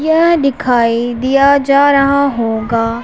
यह दिखाई दिया जा रहा होगा।